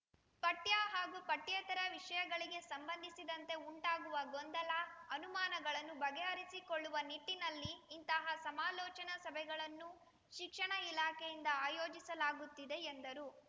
ಪಠ್ಯ ಹಾಗೂ ಪಠ್ಯೇತರ ವಿಷಯಗಳಿಗೆ ಸಂಬಂಧಿಸಿದಂತೆ ಉಂಟಾಗುವ ಗೊಂದಲ ಅನುಮಾನಗಳನ್ನು ಬಗೆಹರಿಸಿಕೊಳ್ಳುವ ನಿಟ್ಟಿನಲ್ಲಿ ಇಂತಹ ಸಮಾಲೋಚನಾ ಸಭೆಗಳನ್ನು ಶಿಕ್ಷಣ ಇಲಾಖೆಯಿಂದ ಆಯೋಜಿಸಲಾಗುತ್ತಿದೆ ಎಂದರು